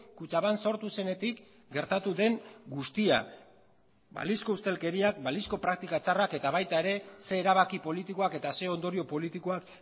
kutxabank sortu zenetik gertatu den guztia balizko ustelkeriak balizko praktika txarrak eta baita ere ze erabaki politikoak eta ze ondorio politikoak